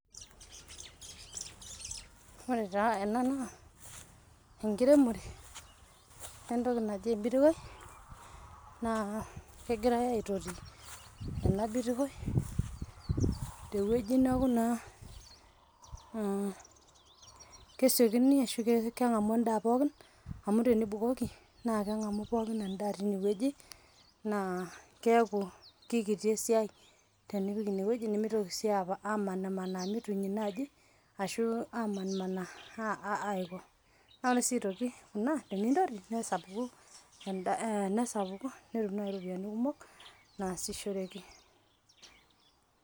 Ore taa ena naa enkiremore entoki anjii eibiriwie naa kegiria aitori ena biriwie te weji neaku naa kesiokini ashu keng'amu indaa pookin amu tenibukoki naa keng'amu naa keng'amu epookin endaa teineweji naa keaku kekiti esiaai tenipik eneweji nemeitoki sii aapo amanaa manaa netum enaaaji ore sii aitoki ana teniintaru nesapuku